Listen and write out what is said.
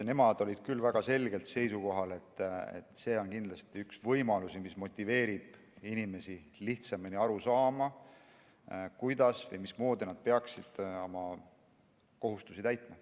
Nemad olid küll väga selgelt seisukohal, et see on kindlasti üks võimalusi, mis motiveerib inimesi lihtsamini aru saama, kuidas või mismoodi nad peaksid oma kohustusi täitma.